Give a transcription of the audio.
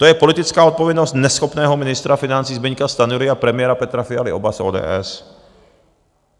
To je politická odpovědnost neschopného ministra financí Zbyňka Stanjury a premiéra Petra Fialy, oba z ODS.